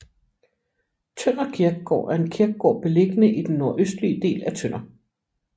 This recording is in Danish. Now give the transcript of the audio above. Tønder Kirkegård er en kirkegård beliggende i den nordøstlige del af Tønder